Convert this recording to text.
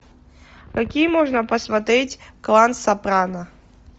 какие можно посмотреть клан сопрано